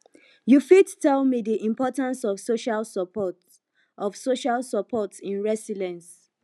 you fit tell me di importance of social support of social support in resilience